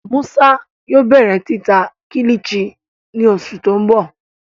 Musa yóò bẹrẹ tita Kilichi ni oṣu ti n bọ